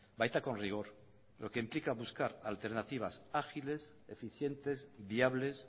baita con rigor lo que implica buscar alternativas ágiles eficientes viables